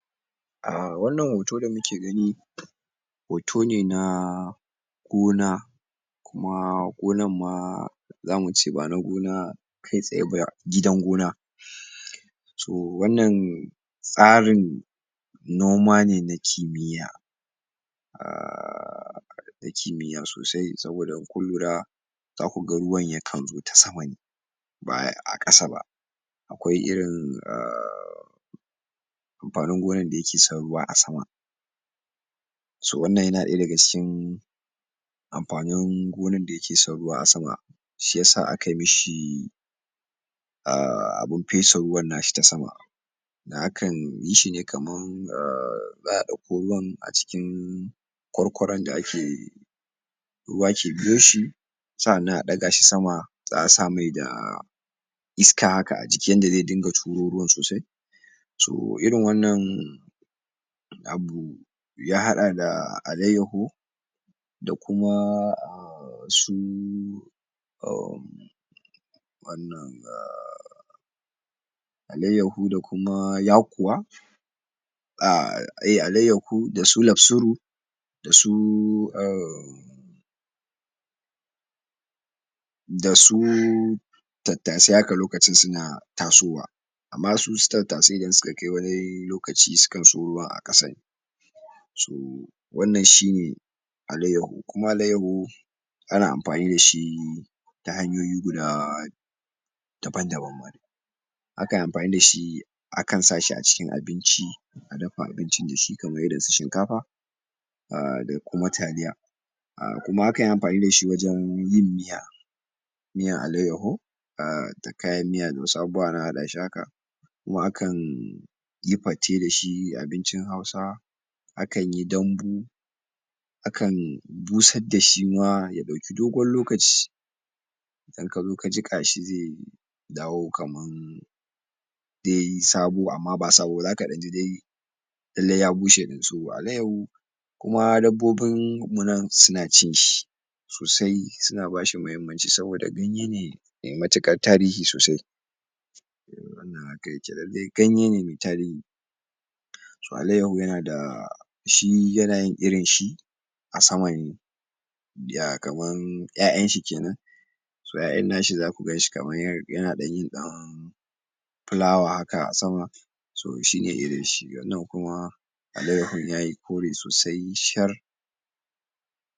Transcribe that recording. A wannan hoto da kuke gani hoto ne na gona kuma gonanma za mu ce ba na gona kai tsaye ba gidan gona um so wannan tsarin noma ne na kimiyya um na kimiyya sosai saboda in kun lura za ku ga ruwan yakan zo ta sama ne ba a ƙasa ba ko irin um amfanin gonon da yake son ruwa a sama so wannan yana ɗaya daga cikin amfanin gonan da yake son ruwa a sama shi ya sa akai mishi um abin fesa ruwan nashi ta sama kan yi shi ne kaman um za a ɗauko ruwan a cikin kwarkwaron da ake ruwa ke biyo shi sa'annan a ɗaga shi sama za a sa mai da da iska haka a jiki yadda zai dinga turo ruwan sosai so irin wannan abu ya haɗa da Alaiyyahu da kuma um su um wannan um Alaiyahu da kuma Yakuwa um Alaiyahu da su Lamsuru da su um da su Tattasai haka lokacin suna tasowa amma su su Tattasai idan suka kai wani lokaci sukan so ruwa a ƙasa ne um wannan shi ne Alaiyahu kuma Alaiyahu ana amfani da shi ta hanyoyi guda daban-daban akan amfani da shi akan sa shi a cikin abinci a dafa abincin da shi kamar irinsu Shinkafa a da kuma Taliya a kuma akan yi amfani da shi wajen yin miya miyan alaiyyahu a da kayan miya da wasu abubuwa ana haɗa shi haka ma akan yi fate da shi abincin Hausa akan yi dambu akan dusan da shi ma ya ɗauki dogon lokaci idan ka zo ka jiƙa shi ze dawo kaman de sabo amma ba sabo ba zaka ɗan ji dai lalle ya bushe ɗin so Alaiyahu kuma dabbobinmu nan suna cin shi sosai suna ba shi muhimmanci saboda ganye ne me matuƙar tasiri sosai um wannan haka yake lalle ganye ne me tarihi so alaiyahu yana da shi yana yin irin shi a sama ne ya kaman 'ya'yanshi kenan so a 'ya'yan nashi zaku ganshi kamar yin ɗan fulawa haka a sama so shi ne irinshi nan kuma Alaiyahun yayi kore sosai shar